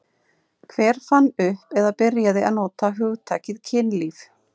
Hver fann upp eða byrjaði að nota hugtakið kynlíf?